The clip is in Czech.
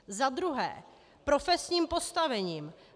Za druhé profesním postavením.